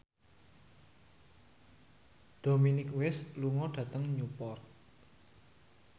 Dominic West lunga dhateng Newport